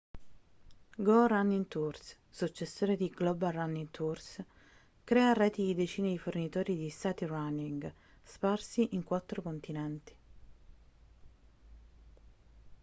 go running tours successore di global running tours crea reti di decine di fornitori di sightrunning sparsi in quattro continenti